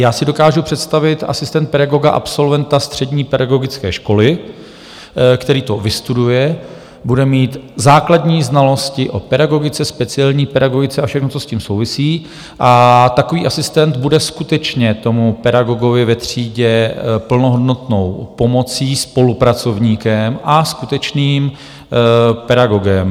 Já si dokážu představit asistenta pedagoga, absolventa střední pedagogické školy, který to vystuduje, bude mít základní znalosti o pedagogice, speciální pedagogice a všechno, co s tím souvisí, a takový asistent bude skutečně tomu pedagogovi ve třídě plnohodnotnou pomocí, spolupracovníkem a skutečným pedagogem.